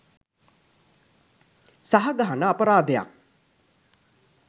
සහ ගහන අපරාධයක්.